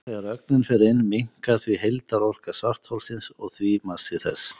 Þegar ögnin fer inn minnkar því heildarorka svartholsins og því massi þess.